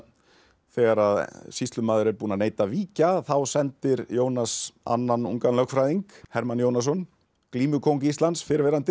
þegar að sýslumaður er búinn að neita að víkja þá sendir Jónas annan ungan lögfræðing Hermann Jónasson glímukóng Íslands fyrrverandi